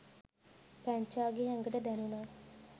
පැංචාගේ ඇඟට දැණුනා